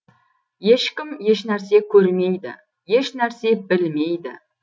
ешкім ешнәрсе көрмейді ешнәрсе білмейді